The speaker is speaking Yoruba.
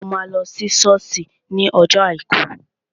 Ṣé o máa lọ sí sọ́ọ̀sì ní ọjọ́ àìkú?